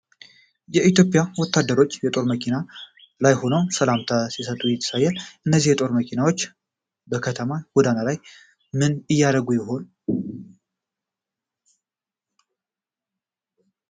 የኢትዮጵያ ወታደሮች በጦር መኪና ላይ ሆነው ሰላምታ ሲሰጡ ያሳያል ። እነዚህ የጦር መኪናዎች በከተማው ጎዳና ላይ ምን እያደረጉ ይሆን ?